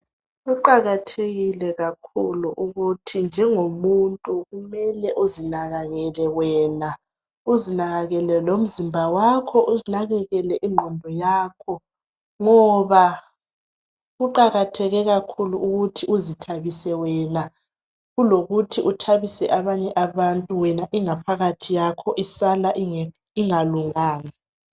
Kuqakathekile kakhulu ukuthi njengomuntu kumele uzinakekele wena uzinakekele lomzimba wakho unakekele lengqondo yakho ngoba kuqakathekile kakhulu ukuthi uzithabise wena kulokuthi uthabise abanye abantu wena ingaphakathi yakho isala ingakunganga